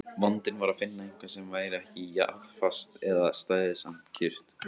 Vandinn var að finna eitthvað sem væri ekki jarðfast en stæði samt kjurt.